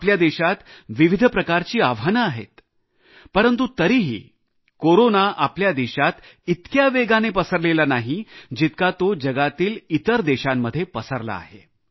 आपल्या देशात विविध प्रकारची आव्हाने आहेत परंतु तरीही कोरोना आपल्या देशात इतक्या वेगाने पसरलेला नाही जितका तो जगातील इतर देशांमध्ये पसरला आहे